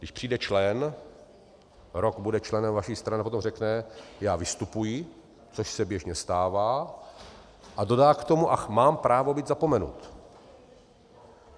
Když přijde člen, rok bude členem vaší strany a potom řekne "já vystupuji", což se běžně stává, a dodá k tomu "a mám právo být zapomenut".